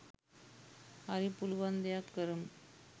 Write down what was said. හරි පුලුවන් දෙයක් කරමු